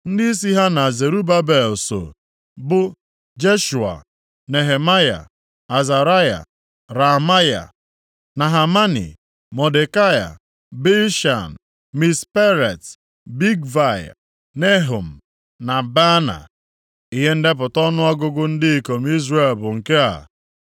Ndịisi ha na Zerubabel soo, bụ Jeshua, Nehemaya, Azaraya, Raamaya, Nahamani, Mọdekai, Bilshan, Misperet, Bigvai, Nehum na Baana. Ihe ndepụta ọnụọgụgụ ndị ikom Izrel bụ nke a: